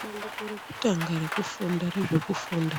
Bandiko rekutanga rezvekufunda